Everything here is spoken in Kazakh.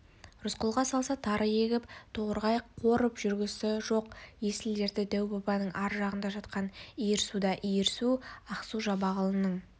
рысқұлға салса тары егіп торғай қорып жүргісі жоқ есіл-дерті дәу-бабаның ар жағында жатқан иірсуда иірсу ақсу-жабағылының